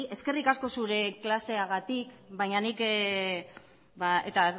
eskerrik asko zure klaseagatik baina nik eta